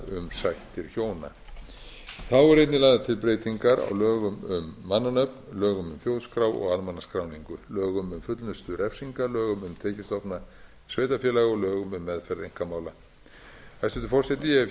sættir hjóna þá eru einnig lagðar til breytingar á lögum um mannanöfn lögum um þjóðskrá og almannaskráningu lögum um fullnustu refsinga lögum um tekjustofna sveitarfélaga og lögum um meðferð einkamála hæstvirtur forseti